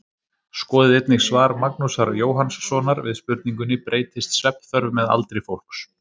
Skoðið einnig svar Magnúsar Jóhannssonar við spurningunni Breytist svefnþörf með aldri fólks?